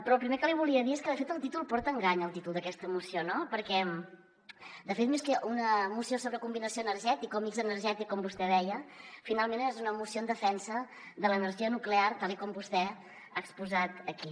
però el primer que li volia dir és que de fet el títol porta a engany el títol d’aquesta moció no perquè de fet més que una moció sobre combinació energètica o mix energètic com vostè deia finalment és una moció en defensa de l’energia nuclear tal com vostè ha exposat aquí